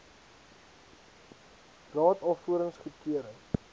raad alvorens goedkeuring